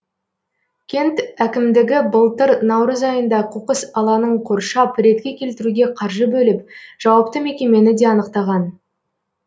кент әкімдігі былтыр наурыз айында қоқыс алаңын қоршап ретке келтіруге қаржы бөліп жауапты мекемені де анықтаған